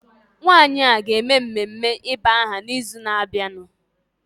Nwanyị a ọ ga-eme mmeme ịba aha n'ịzụ na-abịanụ?